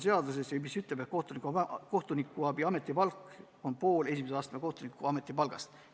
Seadus ütleb, et kohtunikuabi ametipalk on pool esimese astme kohtuniku ametipalgast.